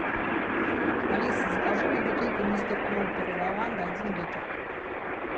алиса закажи мне бутылку мистер пропер лаванда один литр